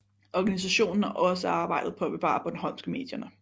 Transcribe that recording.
Organisationen har også arbejdet på at bevare bornholmsk i medierne